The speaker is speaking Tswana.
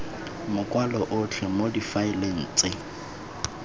makwalo otlhe mo difaeleng tse